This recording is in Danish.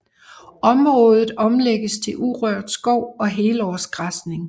Området omlægges til urørt skov og helårsgræsning